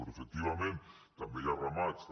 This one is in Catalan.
però efectivament també hi ha ramats també